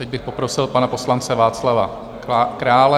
Teď bych poprosil pana poslance Václava Krále.